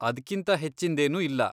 ಅದ್ಕಿಂತ ಹೆಚ್ಚಿಂದೇನೂ ಇಲ್ಲ.